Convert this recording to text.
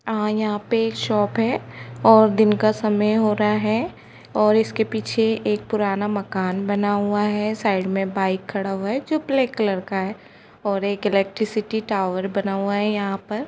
अ-यहा पे शॉप है दिन का समय हो रहा है और इसके पीछे पुराना मकान बना हुआ है साइड मे बाइक खड़ा है जो ब्लैक कलर का है और एक इलेक्ट्रिसिटी टॉवएर बना हुआ है यहा पर।